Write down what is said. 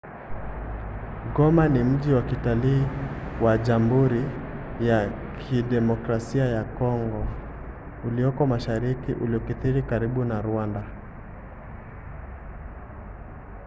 goma ni mji wa kitalii wa jamburi ya kidemokrasia ya congo ulioko mashariki uliokithiri karibu na rwanda